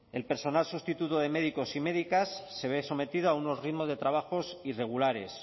el personal sustituto de médicos y médicas se ve sometido a unos ritmos de trabajos irregulares